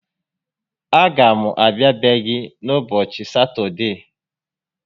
A ga m abịa be gị n'ubọchị Satọdee